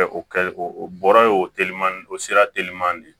O kɛ o bɔra ye o telima o sira teliman de ye